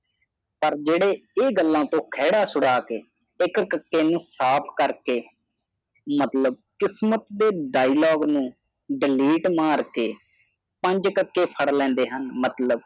ਪਰ ਜਿਹੜੇ ਇਹ ਗੱਲਾਂ ਤੋਂ ਕੜਾ ਛੁਡਾ ਕੇ ਇਕ ਕਕੇ ਨੂੰ ਸਾਫ ਕਰ ਕੇ ਮਤਲਬ ਕਿਸਮਤ ਦੇ ਡਾਇਲੋਗ ਨੂੰ ਡਲੀਟ ਮਾਰਕੇ ਪੰਜ ਕਕੇ ਫੜ ਲਾੜੇ ਹਨ ਮਤਲਬ